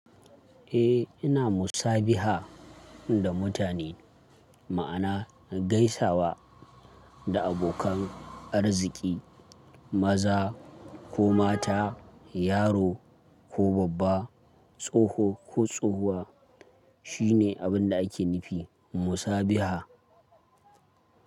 Eh ina musabiha da mutane, ma'ana gaisawa da abokan arziki, maza ko mata, yaro ko babba, tsoho ko tsohuwa shine abin da ake nufi musabiha.